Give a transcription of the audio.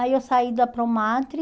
Aí eu saí da Promadri.